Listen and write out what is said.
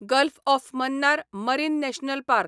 gulf of Mannar marine national park